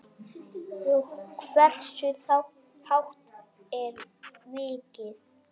Og hversu hátt er virkið?